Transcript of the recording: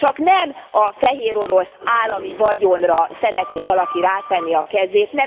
Csak nem a Fehérorosz állami vagyonra szeretné valaki rátenni a kezét?